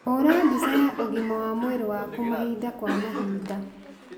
Hũra mbica ya ũgima wa mwĩrĩ waku mahinda kwa mahinda.